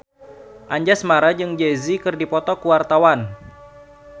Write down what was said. Anjasmara jeung Jay Z keur dipoto ku wartawan